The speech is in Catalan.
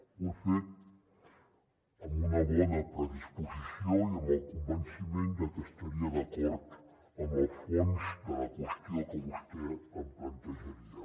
ho he fet amb una bona predisposició i amb el convenciment de que estaria d’acord en el fons de la qüestió que vostè em plantejaria